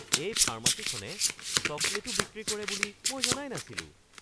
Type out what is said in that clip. এই ফাৰ্মাচীখনে চকলেটো বিক্ৰী কৰে বুলি মই জনাই নাছিলোঁ!